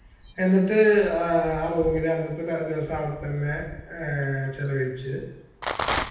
എന്നിട്ട് ആഹ് ആ room ൽ അന്നത്തെ ദിവസം അവിടത്തന്നെ ഏർ ചെലവഴിച്ച്